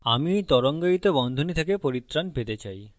আমি এই তরঙ্গায়িত বন্ধনী থেকে পরিত্রাণ পেতে পারি